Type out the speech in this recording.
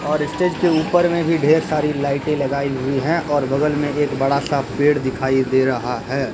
और स्टेज के ऊपर ढेर सारी लाइटें लगाई हुई हैं और बगल में एक बड़ा सा पेड़ दिखाई दे रहा है।